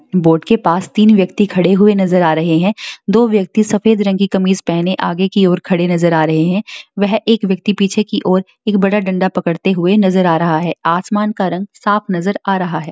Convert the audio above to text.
Boat के पास तीन व्यक्ति खड़े हुए नजर आ रहे हैं दो व्यक्ति सफ़ेद रंग की कमीज पहने आगे की ओर खड़े नजर आ रहे है वह एक व्यक्ति पीछे की ओर एक बड़ा डंडा पकड़ते हुए नजर आ रहा है आसमान का रंग साफ नजर आ रहा है।